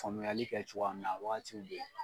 Faamuyali kɛ cogoya min na a wagatiw bɛ ye.